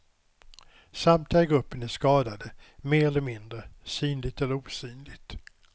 Samtliga i gruppen är skadade, mer eller mindre, synligt eller osynligt.